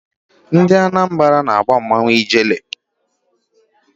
Ndị Anambara na-agba mmanwụ Ijele.